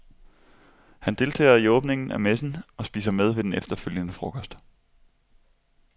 Han deltager i åbningen af messen og spiser med ved den efterfølgende frokost.